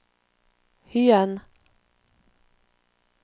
Hyen